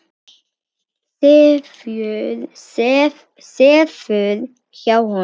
Sefur hjá honum.